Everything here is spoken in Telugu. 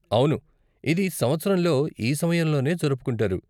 అవును, ఇది సంవత్సరంలో ఈ సమయంలోనే జరుపుకుంటారు.